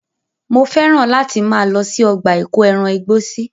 Mo fẹ́ràn láti máa lọ sí ọgbà ìkóẹran igbó sí.